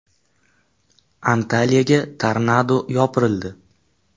Antaliyaga tornado yopirildi .